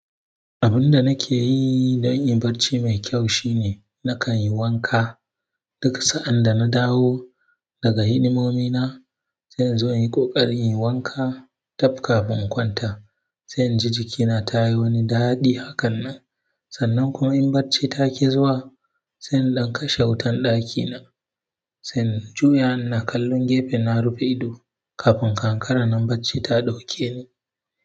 Abun da nake yi don in barci mai kyau shine nakan yi wanka duka sa'an da na dawo daga hidimomi na. Sai in zo in yi ƙoƙari in yi wanka tun kafin kwanta. Sai in ji jikina ta yi wani daɗi hakan nan. Sannan kuma in barci ta ƙi zuwa, sai in dankashe wutan ɗakina, sai in juya na kalli gefe na rufe ido kafin kankara nan barci ta ɗauke ni.